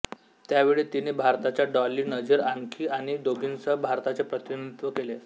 त्यावेळी तिने भारताच्या डॉली नझीर आणखी आणि दोघींसह भारताचे प्रतिनिधित्व केले